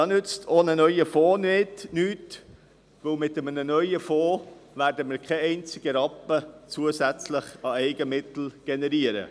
Da nützt auch ein neuer Fonds nichts, denn mit einem neuen Fonds werden wir keinen einzigen zusätzlichen Rappen an Eigenmitteln generieren.